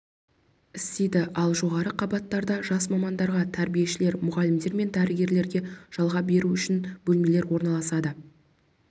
істейді ал жоғарғы қабаттарда жас мамандарға тәрбиешілер мұғалімдер мен дәрігерлерге жалға беру үшін бөлмелер орналасады